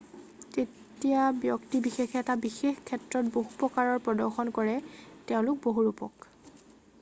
যেতিয়া ব্যক্তি বিশেষে এটা বিশেষ ক্ষেত্ৰত বহু প্ৰকাৰৰ প্ৰদৰ্শন কৰে তেওঁলোক বহুৰূপক